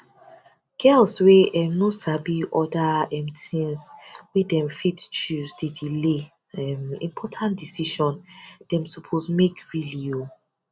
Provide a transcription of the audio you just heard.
girls wey um no sabi other um things wey dem fit choose dey delay um important decision dem suppose make really o